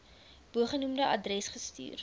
bogenoemde adres gestuur